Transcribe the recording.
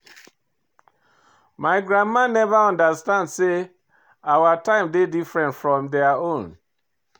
My grandma neva understand sey our time dey different from their own.